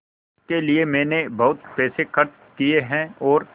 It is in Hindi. इसके लिए मैंने बहुत पैसे खर्च किए हैं और